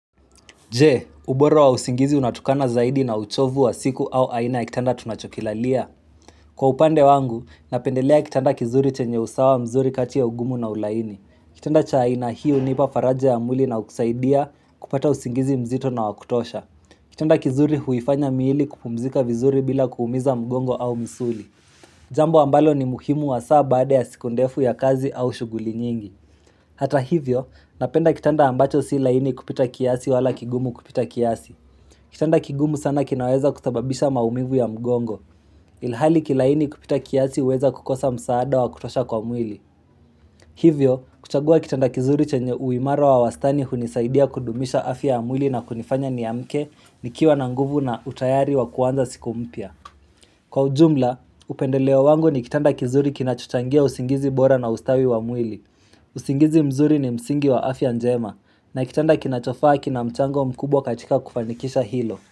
Je, ubora wa usingizi unatokana zaidi na uchovu wa siku au aina ya kitanda tunachokilalia. Kwa upande wangu, napendelea kitanda kizuri chenye usawa mzuri kati ya ugumu na ulaini. Kitanda cha aina hii hunipa faraja ya mwili na kusaidia kupata usingizi mzito na wakutosha. Kitanda kizuri huifanya miili kupumzika vizuri bila kuumiza mgongo au misuli. Jambo ambalo ni muhimu wa saa bade ya sikondefu ya kazi au shuguli nyingi. Hata hivyo, napenda kitanda ambacho si laini kupita kiasi wala kigumu kupita kiasi. Kitanda kigumu sana kinaweza kusababisha maumivu ya mgongo. Ilhali kilaini kupita kiasi huweza kukosa msaada wa kutosha kwa mwili. Hivyo, kuchagua kitanda kizuri chenye uimarao wa wastani hunisaidia kudumisha afi ya mwili na kunifanya ni amke ni kiwa na nguvu na utayari wa kuanza siku mpya. Kwa ujumla, upendeleo wangu ni kitanda kizuri kinachutangia usingizi bora na ustawi wa mwili. Uzingizi mzuri ni msingi wa afya njema na kitanda kinachofaa kina mchango mkubwa katika kufanikisha hilo.